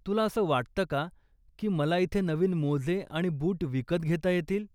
तुला असं वाटतं का की मला इथे नवीन मोजे आणि बूट विकत घेता येतील?